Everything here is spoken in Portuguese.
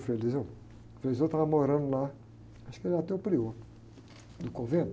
O frei, o frei estava morando lá, acho que ele era até o prior do convento.